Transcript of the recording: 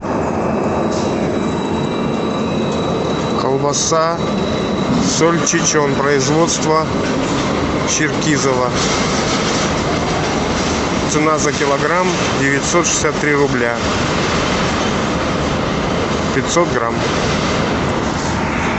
колбаса сальчичон производства черкизово цена за килограмм девятьсот шестьдесят три рубля пятьсот грамм